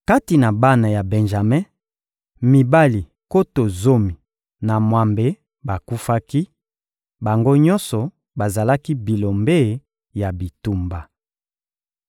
Kati na bana ya Benjame, mibali nkoto zomi na mwambe bakufaki: bango nyonso bazalaki bilombe ya bitumba.